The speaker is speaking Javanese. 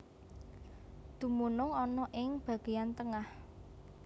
Dumunung ana ing bageyan tengah